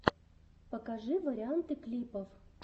покажи варианты клипов